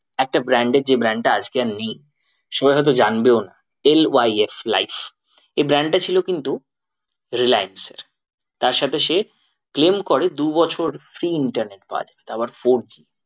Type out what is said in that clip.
একটা brand এর যে brand টা আজকে আর নেই। সবাই হয়তো জানবেও না LYF লাইফ এই brand টা ছিল কিন্তু রিল্যান্স এর তার সাথে সে claim করে দু বছর free internet পাওয়া যেত আবার four G